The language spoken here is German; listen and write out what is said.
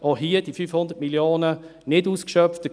Auch hier wurden die 500 Mio. Franken nicht ausgeschöpft.